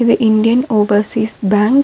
து Indian Overseas Bank .